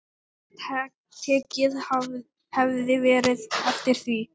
Tekið hefði verið eftir því.